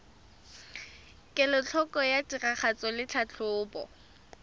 kelotlhoko ya tiragatso le tlhatlhobo